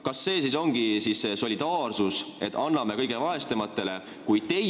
Kas see siis ongi see solidaarsus, et anname kõige vaesematele?